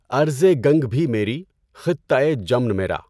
ارضِ گنگ بھی میری، خطۂ جمن میرا